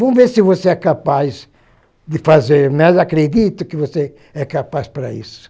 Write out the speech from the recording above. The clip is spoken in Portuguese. Vamos ver se você é capaz de fazer, né, mas acredito que você é capaz para isso.